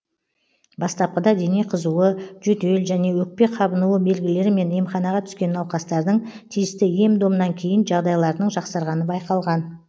бастапқыда дене қызуы жөтел және өкпе қабынуы белгілерімен емханаға түскен науқастардың тиісті ем домнан кейін жағдайларының жақсарғаны байқалған